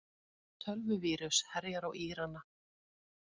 Tölvuvírus herjar á Írana